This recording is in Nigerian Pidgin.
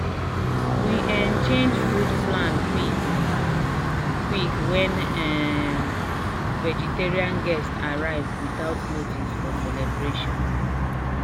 we um change food plan quick um quick when um vegetarian guest arrive without notice for celebration."